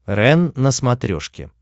рен на смотрешке